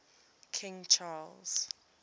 king charles